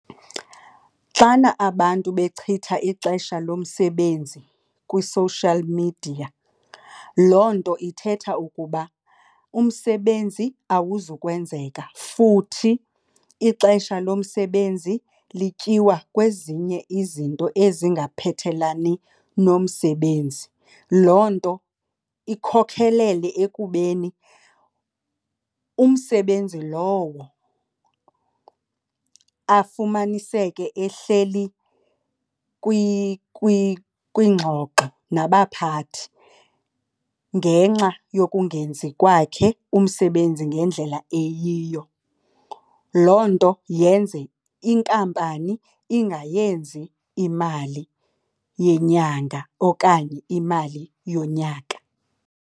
Xana abantu bechitha ixesha lomsebenzi kwi-social media, loo nto ithetha ukuba umsebenzi awuzukwenzeka futhi ixesha lomsebenzi lityiwa kwezinye izinto ezingaphethelani nomsebenzi. Loo nto ikhokhelele ekubeni umsebenzi lowo afumaniseke ehleli kwiingxoxo nabaphathi ngenxa yokungenzi kwakhe umsebenzi ngendlela eyiyo. Loo nto yenze inkampani ingayenzi imali yenyanga okanye imali yonyaka.